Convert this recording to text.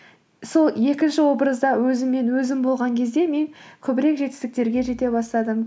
сол екінші образда өзіммен өзім болған кезде мен көбірек жетістіктерге жете бастадым